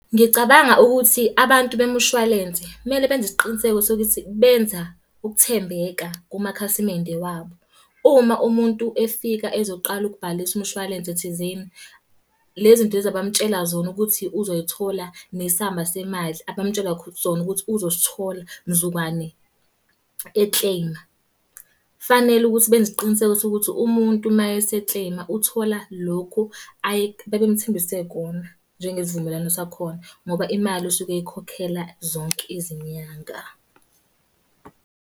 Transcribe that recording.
Ngicabanga ukuthi abantu bemushwalense kumele benze isiqiniseko sokuthi benza ukuthembeka kumakhasimende wabo. Uma umuntu efika ezoqala ukubhalisa umshwalense thizeni, le zinto lezi abamutshela zona ukuthi uzoyithola, nesamba semali abamutshela sona ukuthi uzosithola mzukwane e-claim-a. Fanele ukuthi benze isiqiniseko sokuthi umuntu mayese-claim-a uthola lokhu ababemuthembise kona, njengesivumelwano sakhona. Ngoba imali usuke eyikhokhela zonke izinyanga.